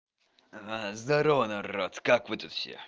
здврово народ как вы тут все